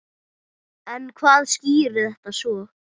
En hvað skýrir þetta svo?